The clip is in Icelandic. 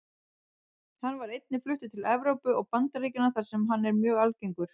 Hann var einnig fluttur til Evrópu og Bandaríkjanna þar sem hann er mjög algengur.